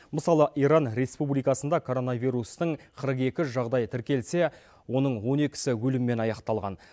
мысалы иран республикасында коронавирустың қырық екі жағдайы тіркелсе оның он екісі өліммен аяқталған